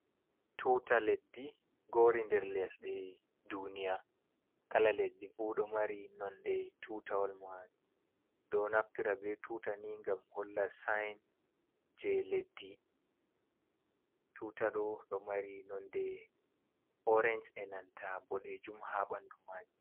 Tuta leddi gori der lesɗe duniya kala leddi fu ɗo mari nonde tutawal mai, ɗo naftira be tuta ni gam holla sin je leddi tuta ɗo ɗo mari nonde orange e nanta boɗejum ha ɓandu maji.